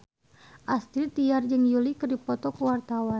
Astrid Tiar jeung Yui keur dipoto ku wartawan